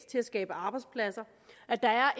til at skabe arbejdspladser at der er